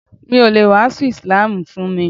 Mi o le wàásù ísílámù fún mi.